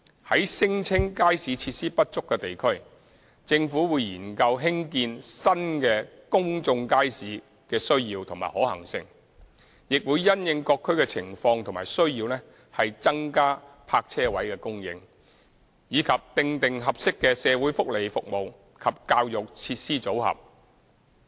在聲稱街市設施不足的地區，政府會研究興建新公眾街市的需要及可行性；亦會因應各區的情況及需要增加泊車位供應，以及訂定合適的社會福利服務及教育設施組合。